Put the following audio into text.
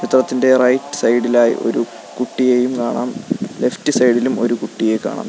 ചിത്രത്തിൻ്റെ റൈറ്റ് സൈഡിലായി ഒരു കുട്ടിയെയും കാണാം ലെഫ്റ്റ് സൈഡിലും ഒരു കുട്ടിയെ കാണാം.